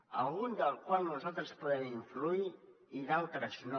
a algun del qual nosaltres podem influir i en d’altres no